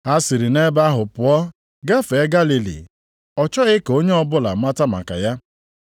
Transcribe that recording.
Ha siri nʼebe ahụ pụọ gafee Galili. Ọ chọghị ka onye ọbụla mata maka ya,